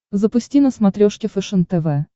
запусти на смотрешке фэшен тв